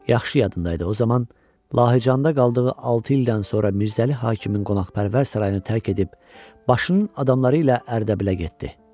Yaxşı yadında idi, o zaman Lahıcanda qaldığı altı ildən sonra Mirzəli Hakimin qonaqpərvər sarayını tərk edib, başının adamları ilə Ərdəbilə getdi.